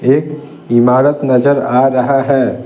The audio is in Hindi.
एक इमारत नजर आ रहा है ।